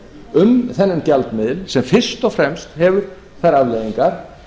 um þennan gjaldmiðil sem fyrst og fremst hefur þær afleiðingar